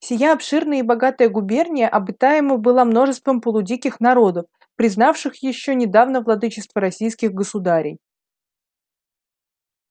сия обширная и богатая губерния обитаема была множеством полудиких народов признавших ещё недавно владычество российских государей